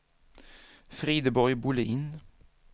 Frideborg Bolin